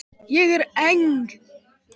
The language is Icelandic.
Ég er eng